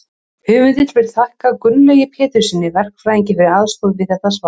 höfundur vill þakka gunnlaugi péturssyni verkfræðingi fyrir aðstoð við þetta svar